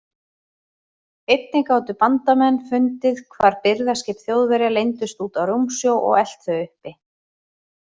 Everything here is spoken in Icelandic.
Einnig gátu bandamenn fundið hvar birgðaskip Þjóðverja leyndust úti á rúmsjó og elt þau uppi.